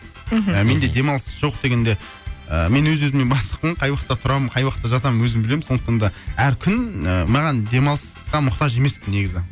мхм менде демалыс жоқ дегенде ыыы мен өз өзіме бастықпын қай уақытта тұрамын қай уақытта жатамын өзім білемін сондықтан да әр күн маған демалысқа мұқтаж емеспін негізі